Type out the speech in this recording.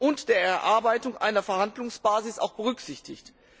und der Erarbeitung der Verhandlungsbasis auch berücksichtigt.